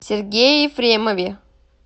сергее ефремове